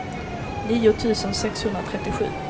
nio tusen sexhundratrettiosju